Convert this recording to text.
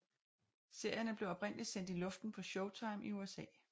Serierne blev oprindeligt sendt i luften på Showtime i USA